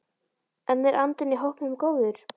En er andinn í hópnum góður?